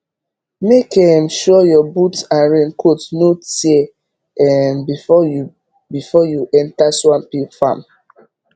make um sure your boot and raincoat no tear um before you before you enter swampy farm